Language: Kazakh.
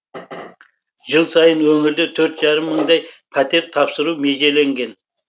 жыл сайын өңірде төрт жарым мыңдай пәтер тапсыру межеленген